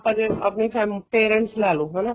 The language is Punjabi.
ਆਪਾਂ ਜਿਵੇਂ ਆਪਣੀ family parents ਲੇਲੋ ਹਨਾ